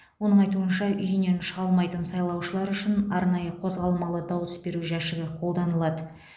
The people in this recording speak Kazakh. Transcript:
оның айтуынша үйінен шыға алмайтын сайлаушылар үшін арнайы қозғалмалы дауыс беру жәшігі қолданылады